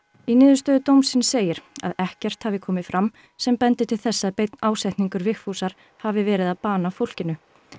í niðurstöðu dómsins segir að ekkert hafi komið fram sem bendi til þess að beinn ásetningur Vigfúsar hafi verið að bana fólkinu